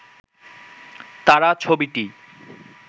তারা ছবিটি